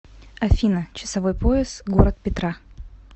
афина часовой пояс город петра